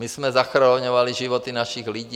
My jsme zachraňovali životy našich lidí.